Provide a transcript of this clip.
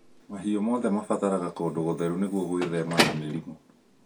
Mahiũ mothe mabataraga kũndũ gũtheru nĩguo gwĩthema na mĩrimũ